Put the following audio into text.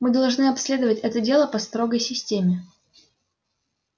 мы должны обследовать это дело по строгой системе